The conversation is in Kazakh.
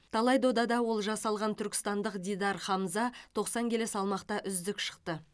талай додада олжа салған түркістандық дидар хамза тоқсан келі салмақта үздік шықты